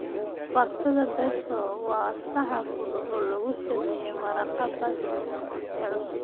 Baastada Pesto waa saxan fudud oo lagu sameeyay maraqa basil ee cusub.